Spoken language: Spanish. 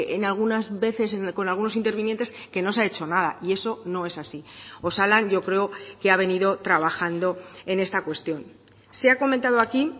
en algunas veces con algunos intervinientes que no se ha hecho nada y eso no es así osalan yo creo que ha venido trabajando en esta cuestión se ha comentado aquí